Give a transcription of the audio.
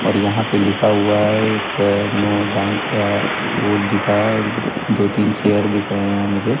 और यहां पे लिखा हुआ है एक नो टाइम का ओल दिखा दो तीन चेयर दिख रहे हैं मुझे।